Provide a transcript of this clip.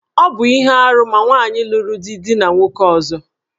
Ọ bu ihe árú ma nwaanyị luru di dina nwoke ọzọ.